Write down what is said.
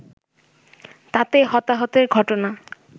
তাতে হতাহতের ঘটনা